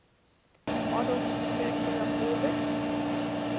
model's circular orbits